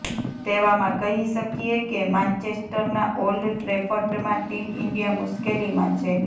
તેવામાં કહી શકીએ કે માન્ચેસ્ટરના ઓલ્ડ ટ્રેફર્ડમાં ટીમ ઈન્ડિયા મુશ્કેલીમાં છે